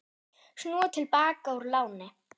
Snúa til baka úr láni